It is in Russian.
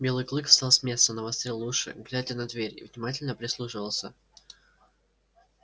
белый клык встал с места навострил уши глядя на дверь и внимательно прислушивался